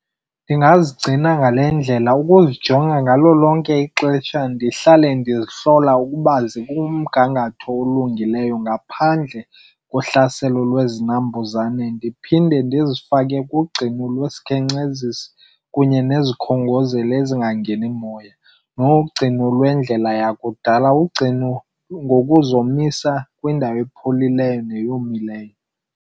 Ndingazigcina ngale ndlela, ukuzijonga ngalo lonke ixesha ndihlale ndizihlola ukuba zikumgangatho olungileyo ngaphandle kohlaselo lwezinambuzane. Ndiphinde ndizifake kugcino lwesikhenkcezisi kunye nezikhongozeli ezingangeni moya. Nogcino lwendlela yakudala, ugcino ngokuzomisa kwindawo epholileyo neyomileyo.